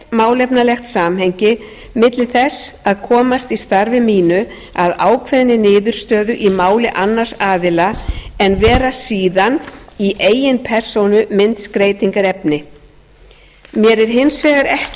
málefnalegt samhengi milli þess að komast í starfi mínu að ákveðinni niðurstöðu í máli annars aðila en vera síðan í eigin persónu myndskreytingarefni mér er hins vegar ekki